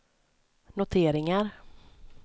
noteringar